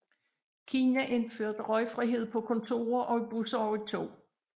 Kina indførte røgfrihed på kontorer og i busser og i tog